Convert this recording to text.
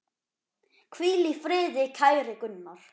Hvíl í friði, kæri Gunnar.